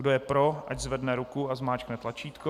Kdo je pro, ať zvedne ruku a zmáčkne tlačítko.